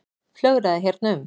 Flögraði hérna um.